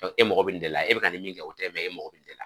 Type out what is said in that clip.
E mago mɛ nin de la e bɛ ka nin min kɛ o tɛ e mago bɛ nin de la.